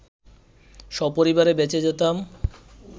সপরিবারে বেঁচে যেতাম